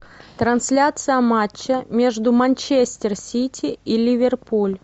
трансляция матча между манчестер сити и ливерпуль